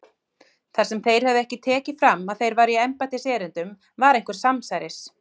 Þar sem þeir höfðu ekki tekið fram að þeir væru í embættiserindum var einhver samsæris